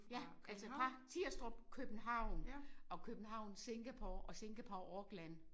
Ja altså fra Tirstrup København og København Singapore og Singapore Auckland